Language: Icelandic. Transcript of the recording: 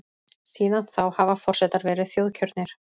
Síðan þá hafa forsetar verið þjóðkjörnir.